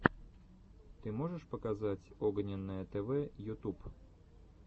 ты можешь показать огненное тв ютуб